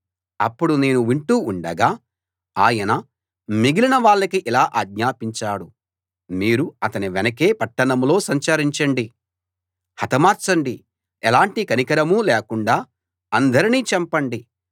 అప్పుడు నేను వింటూ ఉండగా ఆయన మిగిలిన వాళ్ళకి ఇలా అజ్ఞాపించాడు మీరు అతని వెనకే పట్టణంలో సంచరించండి హతమార్చండి ఎలాంటి కనికరమూ లేకుండా అందరినీ చంపండి